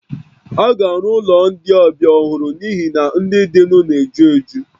A ga-arụ ụlọ ndị ọbịa ọhụrụ n'ihi na ndị dịnụ na-ejuju